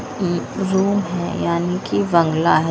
एक रूम हैं यानी कि बंगला है।